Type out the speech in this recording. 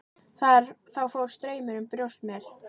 Þá fór straumur um brjóst mér.